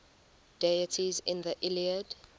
deities in the iliad